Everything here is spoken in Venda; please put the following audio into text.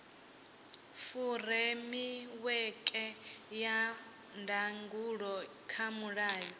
furemiweke ya ndangulo kha mulayo